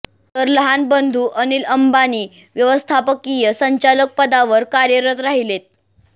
तर लहान बंधू अनिल अंबानी व्यवस्थापकीय संचालक पदावर कार्यरत राहिलेत